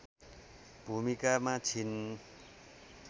भूमिकामा छिन्